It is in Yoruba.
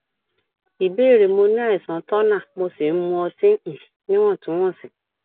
ìbéèrè mo ní àìsàn turner mo sì ń mu ọtí um níwọntúnwọnsì